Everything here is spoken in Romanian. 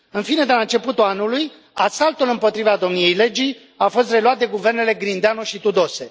În fine, de la începutul anului, asaltul împotriva domniei legii a fost reluat de guvernele Grindeanu și Tudose.